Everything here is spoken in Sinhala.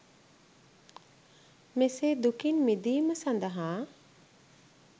මෙසේ දුකින් මිදීම සඳහා